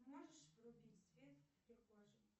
можешь врубить свет в прихожей